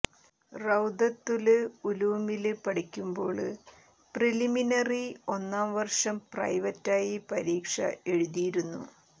റൌദത്തുല് ഉലൂമില് പഠിക്കുമ്പോള് പ്രിലിമിനറി ഒന്നാം വര്ഷം പ്രൈവറ്റായി പരീക്ഷ എഴുതിയിരുന്നു